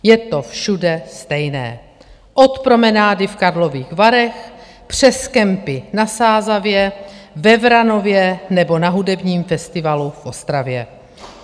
Je to všude stejné - od promenády v Karlových Varech přes kempy na Sázavě, ve Vranově nebo na hudebním festivalu v Ostravě.